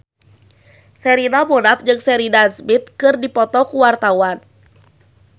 Sherina Munaf jeung Sheridan Smith keur dipoto ku wartawan